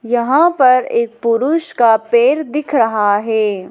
यहाँ पर एक पुरुष का पेर दिख रहा है।